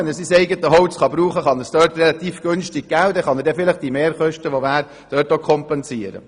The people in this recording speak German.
Er kann sein eigenes Holz relativ günstig abgeben und damit vielleicht allfällige Mehrkosten, die entstehen würden, kompensieren.